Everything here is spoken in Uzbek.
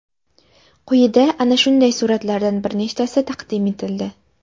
Quyida ana shunday suratlardan bir nechtasi taqdim etildi.